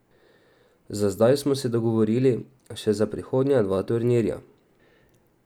Za zdaj smo se dogovorili še za prihodnja dva turnirja.